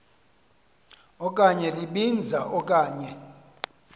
okanye libinza okanye